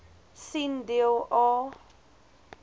sien deel a